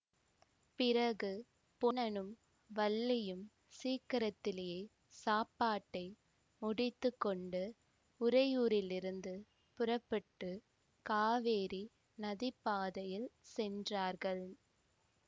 பிறகு பொன்னனும் வள்ளியும் சீக்கிரத்திலயே சாப்பாட்டை முடித்து கொண்டு உறையூரிலிருந்து புறப்பட்டு காவேரி நதிப்பாதையில் சென்றார்கள்